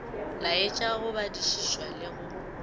laetša go badišišwa le go